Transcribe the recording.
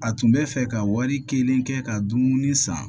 A tun bɛ fɛ ka wari kɛlen kɛ ka dumuni san